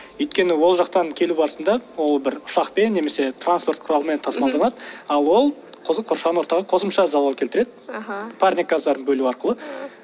өйткені ол жақтан келу барысында ол бір ұшақпен немесе транспорт құралымен тасымалданады ал ол қоршаған ортаға қосымша залал келтіреді аха парник газдарын бөлу арқылы